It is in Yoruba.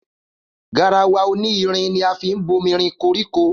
Garawa oní irin ni a fín bómírin kọrikọ.